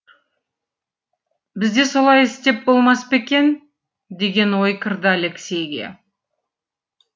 бізде солай істеп болмас па екен деген ой кірді алексейге